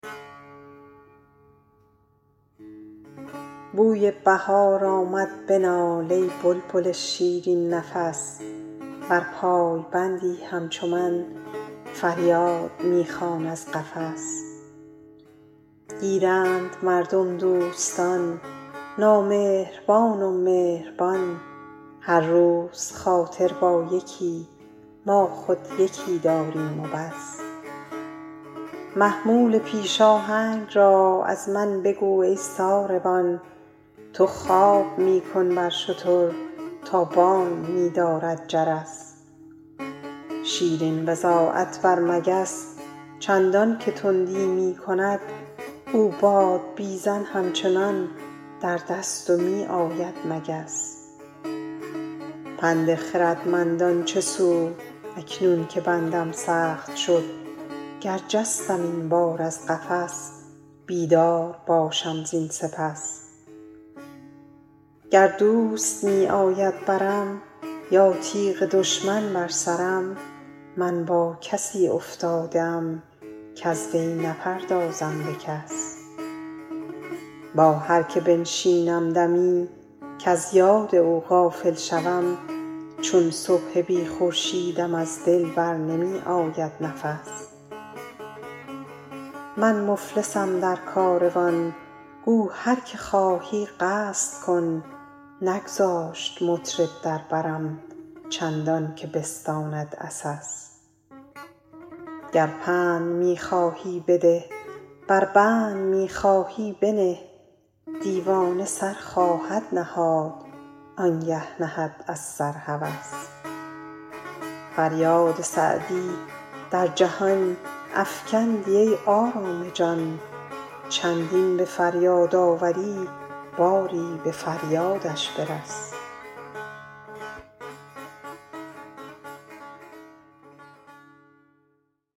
بوی بهار آمد بنال ای بلبل شیرین نفس ور پایبندی همچو من فریاد می خوان از قفس گیرند مردم دوستان نامهربان و مهربان هر روز خاطر با یکی ما خود یکی داریم و بس محمول پیش آهنگ را از من بگو ای ساربان تو خواب می کن بر شتر تا بانگ می دارد جرس شیرین بضاعت بر مگس چندان که تندی می کند او بادبیزن همچنان در دست و می آید مگس پند خردمندان چه سود اکنون که بندم سخت شد گر جستم این بار از قفس بیدار باشم زین سپس گر دوست می آید برم یا تیغ دشمن بر سرم من با کسی افتاده ام کز وی نپردازم به کس با هر که بنشینم دمی کز یاد او غافل شوم چون صبح بی خورشیدم از دل بر نمی آید نفس من مفلسم در کاروان گو هر که خواهی قصد کن نگذاشت مطرب در برم چندان که بستاند عسس گر پند می خواهی بده ور بند می خواهی بنه دیوانه سر خواهد نهاد آن گه نهد از سر هوس فریاد سعدی در جهان افکندی ای آرام جان چندین به فریاد آوری باری به فریادش برس